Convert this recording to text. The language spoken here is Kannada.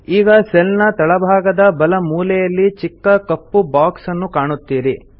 ಈಗ ಸೆಲ್ ನ ತಳಭಾಗದ ಬಲ ಮೂಲೆಯಲ್ಲಿ ಚಿಕ್ಕ ಕಪ್ಪು ಬಾಕ್ಸ್ ನ್ನು ಕಾಣುತ್ತೀರಿ